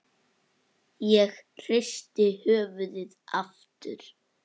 Ég hristi höfuðið aftur.